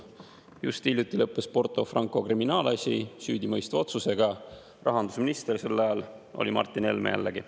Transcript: Just hiljuti lõppes Porto Franco kriminaalasi süüdimõistva otsusega, rahandusminister sel ajal oli Martin Helme, jällegi.